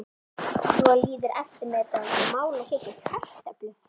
Svo líður eftirmiðdagurinn og mál að setja upp kartöflur.